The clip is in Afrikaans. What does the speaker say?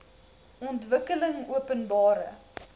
ontwikkelingopenbare